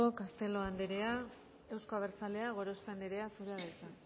castelo anderea euzko abertzaleak gorospe anderea zurea da hitza